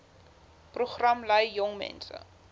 program lei jongmense